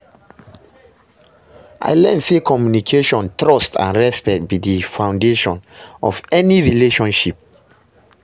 I learn say communication, trust and respect be di foundation of any successful relationship.